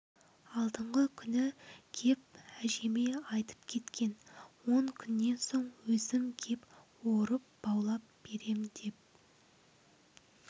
алдыңғы күні кеп әжеме айтып кеткен он күннен соң өзім кеп орып баулап берем деп